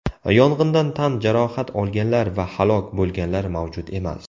Yong‘indan tan jarohat olganlar va halok bo‘lganlar mavjud emas.